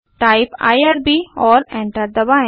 type IRB और enter दबाएँ